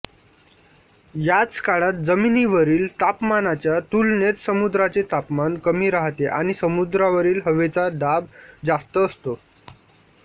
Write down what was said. याच काळात जमिनीवरील तापमानाच्या तुलनेत समुद्राचे तापमान कमी राहते आणि समुद्रावरील हवेचा दाब जास्त असतो